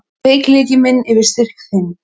Veikleiki minn yfir styrk þinn.